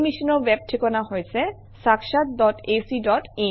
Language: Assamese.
এই মিছনৰ ৱেব ঠিকনা হৈছে - sakshatacin